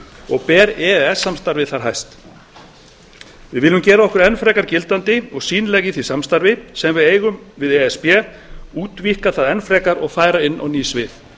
og ber e e s samstarfið þar hæst við viljum gera okkur enn frekar gildandi og sýnileg í því samstarfi sem við eigum við e s b útvíkka það enn frekar og færa inn á ný svið